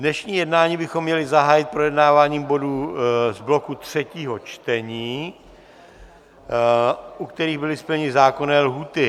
Dnešní jednání bychom měli zahájit projednáváním bodů z bloku třetího čtení, u kterých byly splněny zákonné lhůty.